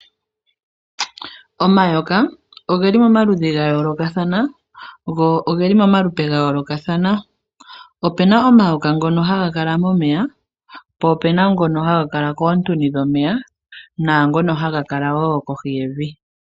Omayoka ogeli pomaludhi ga yoolokathana go ogeli momalupe ga yoolokathana. Ope na omayoka ngoka haga kala momeya, po ope na mgoka haga kala koontuni dhomeya naangono haga kala wo kohi yevi.